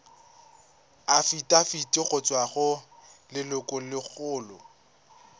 afitafiti go tswa go lelokolegolo